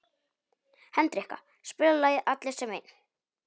Hendrikka, spilaðu lagið „Allir sem einn“.